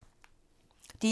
DR1